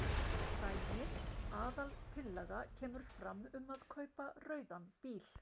Dæmi: Aðaltillaga kemur fram um að kaupa rauðan bíl.